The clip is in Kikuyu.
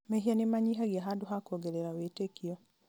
mehia nĩmanyihagia handũ ha kuongerera wĩtĩkio